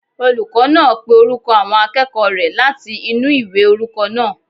Olùkọ́ náà pé orúkọ àwọn akẹ́kọ̀ọ́ rẹ̀ láti inú ìwé orúkọ náà